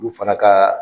Olu fana ka